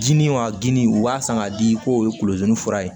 Dimi wa dini u b'a san k'a di k'o ye kulozun fura ye